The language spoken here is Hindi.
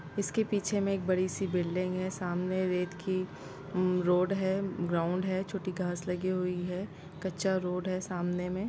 इसके पीछे में एक बड़ी सी बिल्डिंग हैं सामने रेत की उम-रोड हैं ग्राउंड हैं छोटी घास लगी हुई हैं कच्चा रोड हैं सामने में--